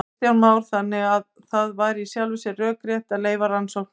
Kristján Már: Þannig að það væri í sjálfu sér rökrétt að leyfa rannsóknir?